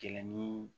Gɛlɛnni